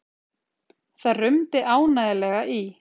Það rumdi ánægjulega í